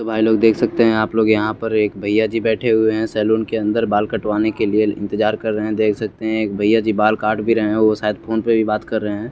भाई लोग देख सकते है आप लोग यहा पर एक भईया जी बेठे हुए है सलोन के अंदर बाल कटवाने के लिए इंतजार कर रहे है देख सकते है एक भईया जी बाल काट भी रहे है वो सायद फोन पर भि बात कर रहे है।